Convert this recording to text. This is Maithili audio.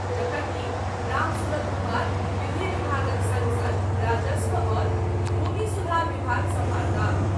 जखनकि रामसूरत कुमार विधि विभागक सङ्ग सङ्ग राजस्व आ भूमि सुधार विभाग सम्हारताह।